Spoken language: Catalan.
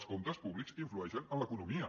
els comptes públics influeixen en l’economia